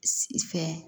Si fɛ